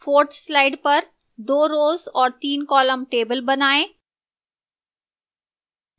4th slide पर 2 rows और तीन columns का table बनाएं